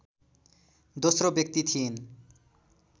दोश्रो व्यक्ति थिइन्